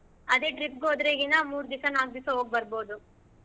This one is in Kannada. ಅದೆ trip ಗ್ ಹೋದ್ರೆ ಈಗಿನ ಮೂರ್ ದಿವ್ಸಾ ನಾಕ್ ದಿವ್ಸಾ ಹೋಗ್ಬರ್ಬಹುದು.